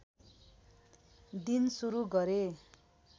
दिन सुरु गरे